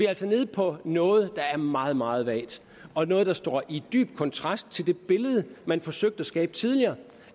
altså nede på noget der er meget meget vagt og noget der står i dyb kontrast til det billede man forsøgte at skabe tidligere